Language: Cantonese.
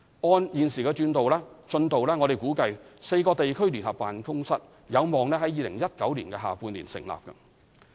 按現時進度，我們估計4個地區聯合辦公室可望於2019年下半年成立。